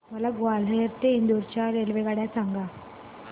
मला ग्वाल्हेर ते इंदूर च्या रेल्वेगाड्या सांगा